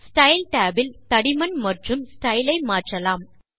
style Tab இல் தடிமன் மற்றும் ஸ்டைல் ஐ மாற்றலாம்